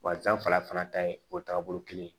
Wa janfa fana ta ye o tagabolo kelen ye